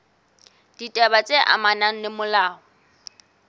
ditaba tse amanang le molao